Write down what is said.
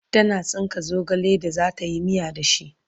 tana tsinka zogale da zatayi miya da shi